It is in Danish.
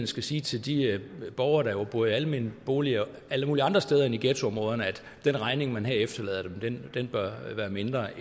skal sige til de borgere der bor i almene boliger alle mulige andre steder end i ghettoområderne at den regning man her efterlader dem bør være mindre